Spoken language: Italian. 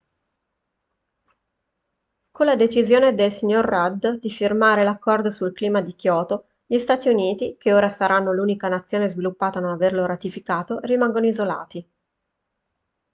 con la decisione del signor rudd di firmare l'accordo sul clima di kyoto gli stati uniti che ora saranno l'unica nazione sviluppata a non averlo ratificato rimangono isolati